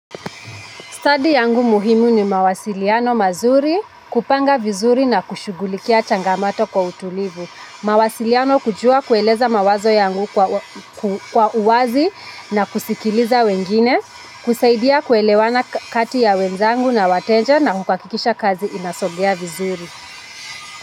Stadi yangu muhimu ni mawasiliano mazuri kupanga vizuri na kushughulikia changamato kwa utulivu. Mawasiliano kujua kueleza mawazo yangu kwa uwazi na kusikiliza wengine, kusaidia kuelewana kati ya wenzangu na wateja na kuhakakikisha kazi inasogea vizuri.